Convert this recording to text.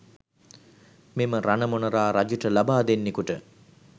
මෙම රණ මොනරා රජුට ලබා දෙන්නෙකුට